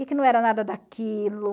E que não era nada daquilo.